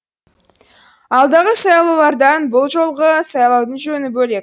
алдағы сайлаулардан бұл жолғы сайлаудың жөні бөлек